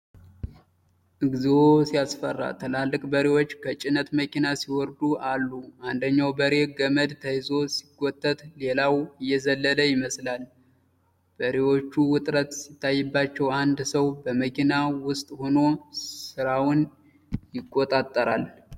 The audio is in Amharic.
እግዚኦ ሲያስፈራ! ትላልቅ በሬዎች ከጭነት መኪና ሲወርዱ አሉ። አንደኛው በሬ ገመድ ተይዞ ሲጎተት፣ ሌላው እየዘለለ ይመስላል። በሬዎቹ ውጥረት ሲታይባቸው፣ አንድ ሰው በመኪናው ውስጥ ሆኖ ስራውን ይቆጣጠራል።